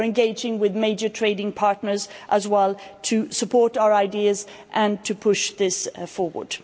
We're engaging with major trading partners, as well, to support our ideas and to push this forward.